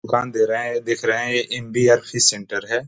दुकान दे रहे है दिख रहे है ये एन.डी.एफ.सी. सेण्टर है।